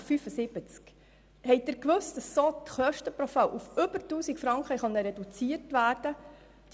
Haben Sie gewusst, dass so die Kosten pro Fall um mehr als 1000 Franken reduziert werden konnten?